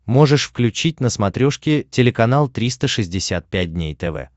можешь включить на смотрешке телеканал триста шестьдесят пять дней тв